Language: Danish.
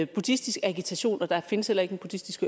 buddhistisk agitation og der findes heller ikke en buddhistisk